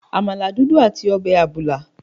Àmàlà dúdú àti ọbẹ̀ àbùlà.